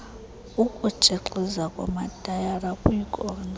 ukutshixiza kwamatayara kwiikona